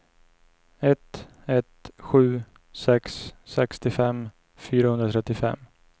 ett ett sju sex sextiofem fyrahundratrettiofem